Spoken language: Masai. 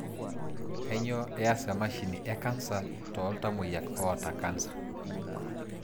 Kanyioo eaas emashini e cancer tooltamoyiak oota cancer.